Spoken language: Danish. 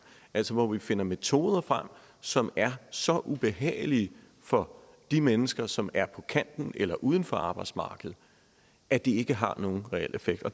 altså hvor vi finder metoder frem som er så ubehagelige for de mennesker som er på kanten af eller uden for arbejdsmarkedet at de ikke har nogen reel effekt